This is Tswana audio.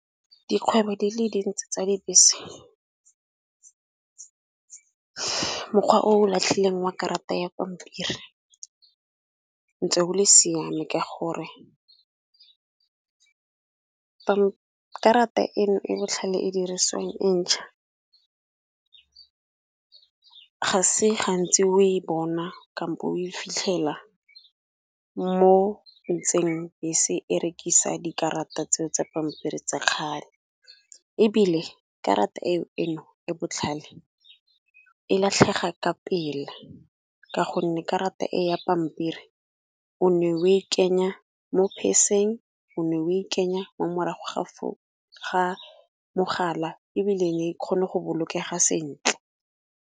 Dikgwebo di le dintsi tsa dibese, mokgwa o latlhile wa karata ya pampiri ntse o le siame ka gore karata e e botlhale e dirisiwang e ntšha. Ga se gantsi o e bona kampo o e fitlhela mo ntseng bese e rekisa dikarata tseo tsa pampiri tsa kgale ebile karata eno e botlhale e latlhega ka pela, ka gonne karata e ya pampiri o ne o e kenya mo purse-ng o ne o e kenya mo mogala, ebile kgone go bolokega sentle.